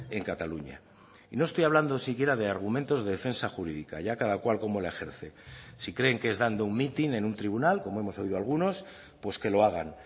en cataluña y no estoy hablando siquiera de argumentos de defensa jurídica allá cada cual cómo la ejerce si creen que es dando un mitin en un tribunal como hemos oído a algunos pues que lo hagan